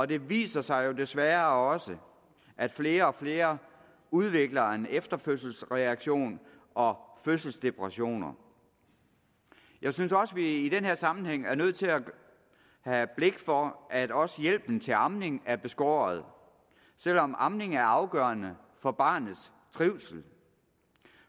det viser sig jo desværre også at flere og flere udvikler efterfødselsreaktioner og fødselsdepressioner jeg synes også at vi i den her sammenhæng er nødt til at have blik for at også hjælpen til amningen er beskåret selv om amning er afgørende for barnets trivsel